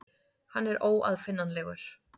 Hann er óaðfinnanlegur.